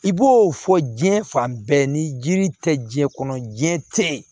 I b'o fɔ diɲɛ fan bɛɛ ni jiri tɛ diɲɛ kɔnɔ jiyɛn tɛ yen